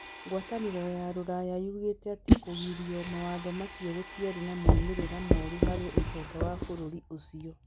Ngwatanĩro ya rũraya yugĩte atĩ kũigirio mawatho macio gũtiarĩ na moimĩrĩro moru harĩ ũtonga wa bũrũri ũcio.